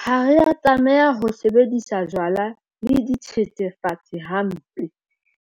Ha re a tlameha ho sebedisa jwala le dithethefatsi hampe.